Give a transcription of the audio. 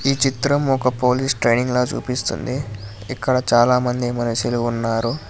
చిత్రం ఒక police training లో చూపిస్తుంది ఇక్కడ చాలామంది మనస్సులు ఉన్నారు.